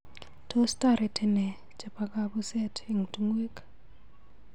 Tos toreti nee chebo kabuset eng tungwek.